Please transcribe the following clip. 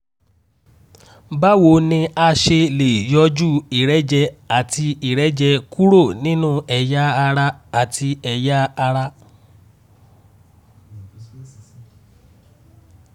báwo ni a ṣe lè yọjú ìrẹ́jẹ àti ìrẹ́jẹ kúrò nínú ẹ̀yà ara àti ẹ̀yà ara?